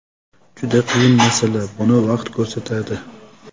Juda qiyin masala, buni vaqt ko‘rsatadi.